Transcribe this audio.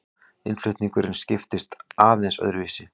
Innflutningurinn skiptist aðeins öðruvísi.